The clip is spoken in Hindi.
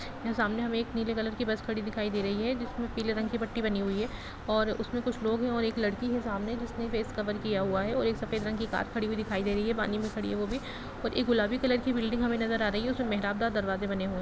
यहाँ सामने हमें एक नीले कलर की बस खड़ी दिखाई दे रही है जिसमें पीले रंग की पट्टी बनी हुई है और उसमें कुछ लोग हैं और एक लड़की है सामने जिसने फेस कवर किया हुआ है और एक सफेद रंग की कार खड़ी हुई दिखाई दे रही है पानी में खड़ी है वो भी और एक गुलाबी कलर की बिल्डिंग हमें नजर आ रही है उसमें दरवाजे बने हुए--